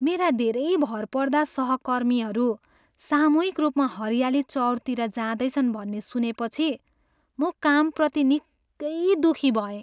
मेरा धेरै भरपर्दा सहकर्मीहरू सामूहिक रूपमा हरियाली चउरतिर जाँदैछन् भन्ने सुनेपछि म कामप्रति निकै दुखी भएँ।